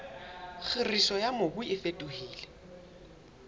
kgiriso ya mobu e fetohile